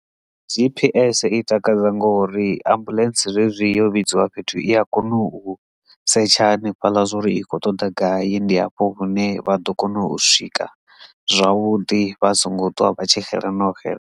G_P_S i takadza ngori ambuḽentse zwezwi yo vhidziwa fhethu i a kona u setsha hanefhaḽa zwori i kho ṱoḓa gai ndi hafho hune vha ḓo kona u swika zwavhuḓi vha songo ṱwa vha tshi xela na u xela.